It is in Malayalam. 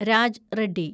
രാജ് റെഡ്ഡി